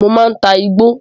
Mo máa ta igbó.